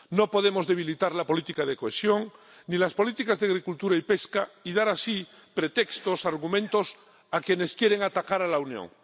No podemos debilitar la política de cohesión ni las políticas de agricultura y pesca y dar así pretextos, argumentos, a quienes quieren atacar a la Unión.